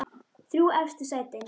Þrjú efstu sætin